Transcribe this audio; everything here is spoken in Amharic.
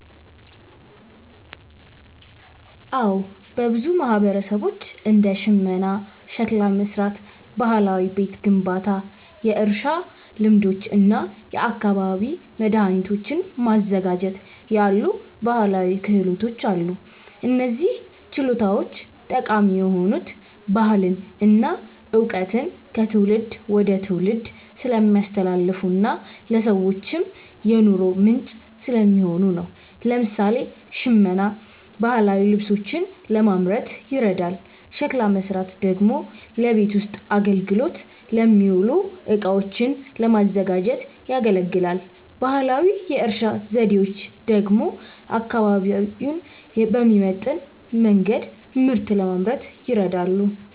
አዎ፣ በብዙ ማህበረሰቦች እንደ ሽመና፣ ሸክላ መሥራት፣ ባህላዊ ቤት ግንባታ፣ የእርሻ ልማዶች እና የአካባቢ መድኃኒቶችን ማዘጋጀት ያሉ ባህላዊ ክህሎቶች አሉ። እነዚህ ችሎታዎች ጠቃሚ የሆኑት ባህልን እና እውቀትን ከትውልድ ወደ ትውልድ ስለሚያስተላልፉና ለሰዎችም የኑሮ ምንጭ ስለሚሆኑ ነው። ለምሳሌ፣ ሽመና ባህላዊ ልብሶችን ለማምረት ይረዳል፤ ሸክላ መሥራት ደግሞ ለቤት ውስጥ አገልግሎት የሚውሉ እቃዎችን ለማዘጋጀት ያገለግላል። ባህላዊ የእርሻ ዘዴዎች ደግሞ አካባቢውን በሚመጥን መንገድ ምርት ለማምረት ይረዳሉ።